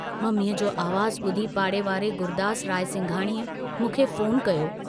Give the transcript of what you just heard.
मम्मीअ जो आवाज़ बुधी पाड़े वारे गुरदास रायसिंघाणीअ मूंखे फोन कयो।